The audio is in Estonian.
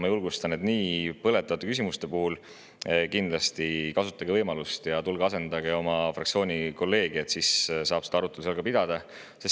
Ma julgustan teid: nii põletavate küsimuste puhul kasutage kindlasti võimalust ja tulge asendage oma fraktsiooni kolleegi – siis saab seda arutelu seal ka pidada.